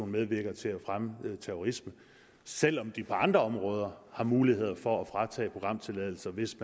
medvirker til at fremme terrorisme selv om de på andre områder har muligheder for at fratage programtilladelser hvis